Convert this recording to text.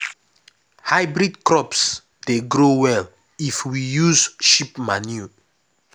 hybrid crops dey grow well if we use sheep manure.